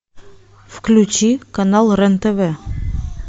включи канал рен тв